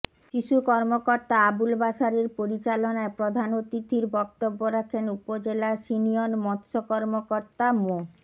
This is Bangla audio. শিশু কর্মকর্তা আবুল বাশারের পরিচালনায় প্রধান অতিথির বক্তব্য রাখেন উপজেলা সিনিয়ন মৎস্য কর্মকতা মো